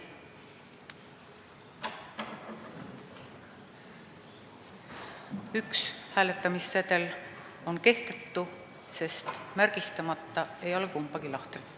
Üks hääletamissedel on kehtetu, sest märgistatud ei ole kumbagi lahtrit.